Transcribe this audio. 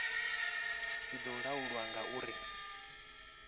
zwi do laulwa nga uri